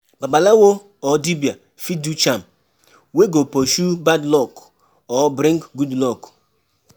Babalawo or dibia fit do charm wey go pursue bad luck or bring good luck